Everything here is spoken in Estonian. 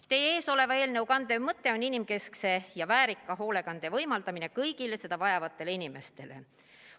Teie ees oleva eelnõu kandev mõte on inimkeskse ja väärika hoolekande võimaldamine kõigile seda vajavatele inimestele.